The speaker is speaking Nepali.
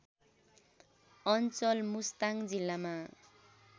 अञ्चल मुस्ताङ जिल्लामा